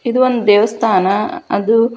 ಇದು ಒಂದು ದೇವಸ್ಥಾನ ಅದು ನೀಲಿ ಬಣ್ಣದಿಂದ ಕೂಡಿದೆ.